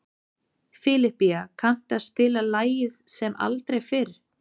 Filipía, kanntu að spila lagið „Sem aldrei fyrr“?